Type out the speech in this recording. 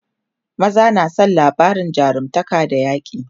maza na San labarin jarumtaka da yaƙi